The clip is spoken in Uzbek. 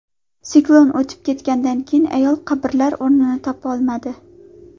Siklon o‘tib ketganidan keyin ayol qabrlar o‘rnini topolmadi.